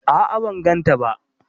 A'a ban gan ta ba